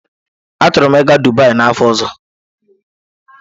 Achọrọ m ịga Dubai n'afọ ọzọ.